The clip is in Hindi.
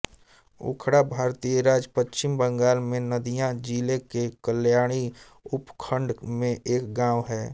उखड़ा भारतीय राज्य पश्चिम बंगाल में नदिया जिले के कल्याणी उपखंड में एक गाँव है